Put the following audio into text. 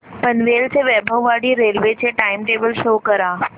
पनवेल ते वैभववाडी रेल्वे चे time table show करा